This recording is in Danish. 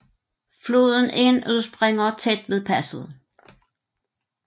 Floden Inn udspringer tæt ved passet